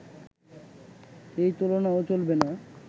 এই তুলনাও চলবে না